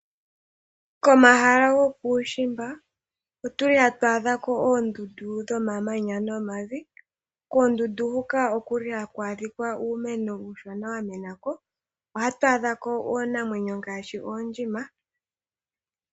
Komahala gokuushimba otuli hatu adhako oondundu dhomamanya nomavi . Koondundu huka okuli haku adhikwa uumeno uushona wamenako. Ohatu adhako iinamwenyo ngaashi oondjima.